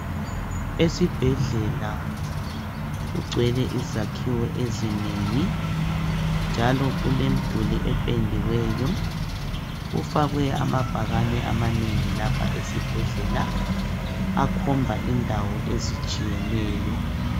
Esibhedlela kugcwele izakhiwo ezinengi njalo kulemiduli ependiweyo kufakwe amabhakane amanengi lapha esibhedlela akhomba indawo ezitshiyeneyo.